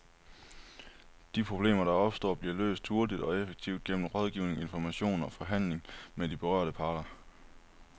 De problemer, der opstår, bliver løst hurtigt og effektivt gennem rådgivning, information og forhandling med de berørte parter.